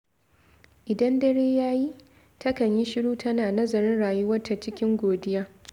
Idan dare ya yi, takan yi shiru tana nazarin rayuwarta cikin godiya.